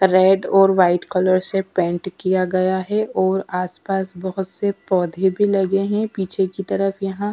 red और white colour से paint किया गया है और आसपास बहोत से पौधे भी लगे है पीछे की तरफ यहाँ --